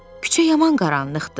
küçə yaman qaranlıqdır.